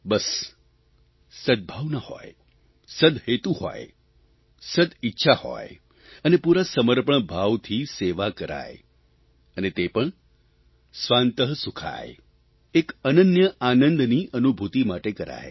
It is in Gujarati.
બસ સદભાવના હોય સદ્હેતુ હોય સદ્ઇચ્છા હોય અને પૂરા સમર્પણભાવથી સેવા કરાય અને તે પણ સ્વાંતઃ સુખાય એક અનન્ય આનંદની અનુભૂતિ માટે કરાય